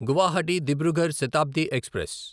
Guwahati Dibrugarh Shatabdi express